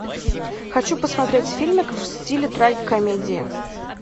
хочу посмотреть фильмик в стиле трагикомедии